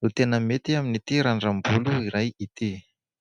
no tena mety amin'ity randram-bolo iray ity.